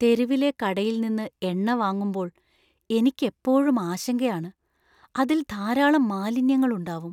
തെരുവിലെ കടയിൽ നിന്ന് എണ്ണ വാങ്ങുമ്പോൾ എനിക്ക് എപ്പോഴും ആശങ്കയാണ്. അതിൽ ധാരാളം മാലിന്യങ്ങൾ ഉണ്ടാവും.